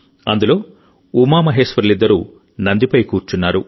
అందులో ఉమామహేశ్వరులిద్దరూ నందిపై కూర్చున్నారు